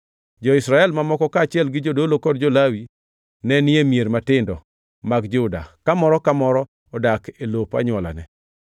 Jo-Israel mamoko, kaachiel gi jodolo kod jo-Lawi, ne ni e mier matindo mag Juda, ka moro ka moro odak e lop anywolane.